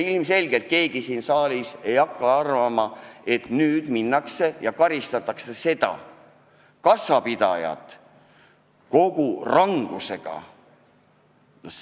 Ilmselgelt keegi siin saalis ei arva, et nüüd minnakse ja karistatakse kassapidajat kogu rangusega.